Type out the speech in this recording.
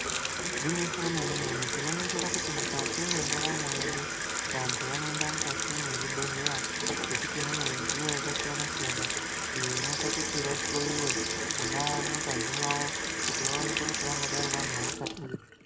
Igwinyiso remene -mene tinoringira kuti mukati mwendaramo yedu vantu vanoenda mukati mwezvibhedhleya ngekuti mune midziyo yakasiyana-siyana iyo inoita kuti vahloiwe mwona mungazi mwawo kuti vaonekwe kuti vangadai vane hosha ipi.